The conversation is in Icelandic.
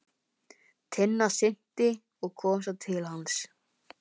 Tinna synti og kom svo til hans.